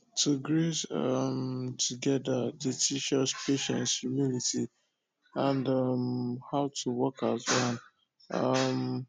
to graze um together dey teach us patience humility and um how to work as one um